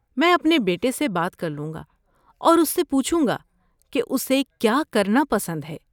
میں اپنے بیٹے سے بات کر لوں گا اور اسے پوچھوں گا کہ اسے کیا کرنا پسند ہے۔